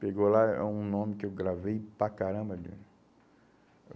Pegou lá um nome que eu gravei para caramba ali.